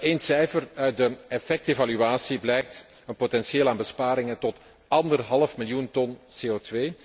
Eén cijfer uit de effectevaluatie blijkt een potentieel aan besparingen tot anderhalf miljoen ton CO